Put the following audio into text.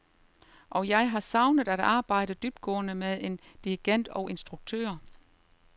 Og jeg har savnet at arbejde dybtgående med en dirigent og instruktør.